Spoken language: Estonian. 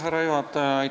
Härra juhataja!